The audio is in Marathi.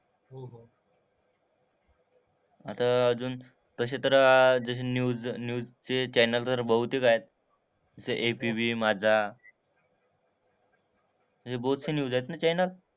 आता अजून तसे तर जसे न्यूज न्यूज चे चॅनेल्सवर बहुतेक ऍड जसं ABP माझा. हे बहोतशी न्यूज आहेत ना चॅनेल.